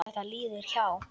Þetta líður hjá.